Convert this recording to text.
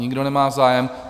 Nikdo nemá zájem.